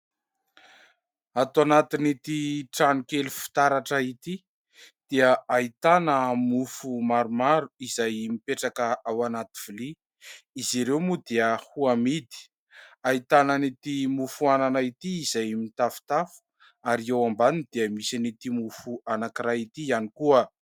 Ato anatin'ity trano kely fitaratra ity dia ahitana mofo maromaro izay mipetraka ao anaty vilia. Izy ireo moa dia ho amidy ahitana ity mofo anana ity izay mitafotafo ary eo ambany dia misy ity mofo anankiray ity ihany koa.